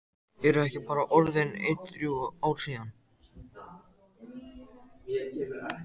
Eru ekki bara orðin ein þrjú ár síðan?